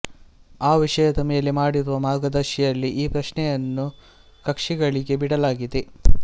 ಆ ವಿಷಯದ ಮೇಲೆ ಮಾಡಿರುವ ಮಾರ್ಗದರ್ಶಿಯಲ್ಲಿ ಈ ಪ್ರಶ್ನೆಯನ್ನು ಕಕ್ಷಿಗಳಿಗೇ ಬಿಡಲಾಗಿದೆ